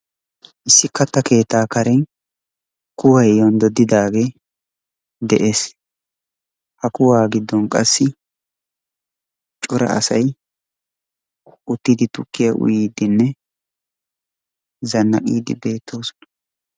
issi katta keettaa karen kuway yonddodidaagee des, ha kuwaa giddon qassi cora asay uttiidi tukkiya uyiidinne zanaqiidi beetoosona.